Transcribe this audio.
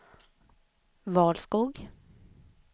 Valskog